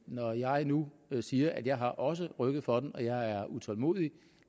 når jeg nu nu siger at jeg også har rykket for den at jeg er utålmodig